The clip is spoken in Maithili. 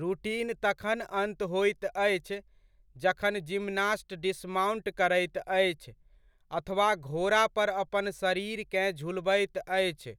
रूटीन तखन अन्त होइत अछि, जखन जिम्नास्ट डिस्माउंट करैत अछि, अथवा घोड़ापर अपन शरीरकेँ झुलबैत अछि